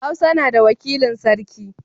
Hausa na da wakilin sarki.